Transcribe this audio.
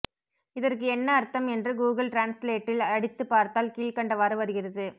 இதற்கு என்ன அர்த்தம் என்று கூகிள் டிராண்ஸ்லேட்டில் அடித்து பார்த்தால் கீழ்க்கண்டவாறு வருகிறது